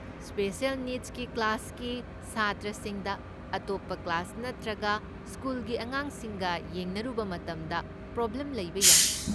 Special ꯅꯤꯗꯁꯀꯤ ꯀ꯭ꯂꯥꯁꯀꯤ ꯁꯥꯇ꯭ꯔꯁꯤꯡꯗ ꯑꯇꯣꯞꯄ ꯀ꯭ꯂꯥꯁ ꯅꯠꯇ꯭ꯔꯒ ꯁ꯭ꯀꯨꯜꯒꯤ ꯑꯉꯥꯡꯁꯤꯡꯒ ꯌꯦꯡꯅꯔꯨꯕ ꯃꯇꯝꯗ ꯄ꯭ꯔꯣꯕ꯭ꯂꯦꯝ ꯂꯩꯕ ꯌꯥꯏ꯫